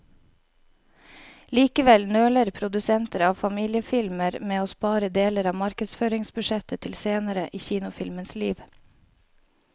Likevel nøler produsenter av familiefilmer med å spare deler av markedsføringsbudsjettet til senere i kinofilmens liv.